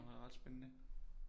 Som er ret spændende